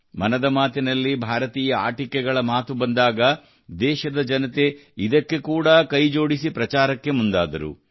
ಮನದ ಮಾತಿನಲ್ಲಿ ಭಾರತೀಯ ಆಟಿಕೆಗಳ ಮಾತು ಬಂದಾಗ ದೇಶದ ಜನತೆ ಇದಕ್ಕೆ ಕೂಡಾ ಕೈಜೋಡಿಸಿ ಪ್ರಚಾರಕ್ಕೆ ಮುಂದಾದರು